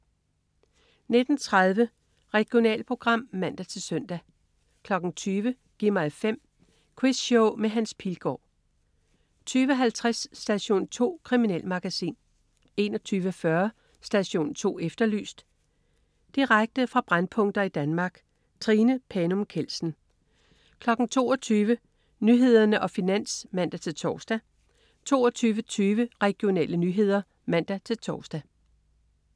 19.30 Regionalprogram (man-søn) 20.00 Gi' mig 5. Quizshow med Hans Pilgaard 20.50 Station 2. Kriminalmagasin 21.40 Station 2 Efterlyst. Direkte fra brændpunkter i Danmark. Trine Panum Kjeldsen 22.00 Nyhederne og Finans (man-tors) 22.20 Regionale nyheder (man-tors)